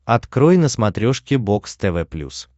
открой на смотрешке бокс тв плюс